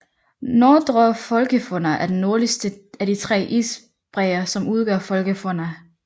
Nordre Folgefonna er den nordligste af de tre isbræer som udgør Folgefonna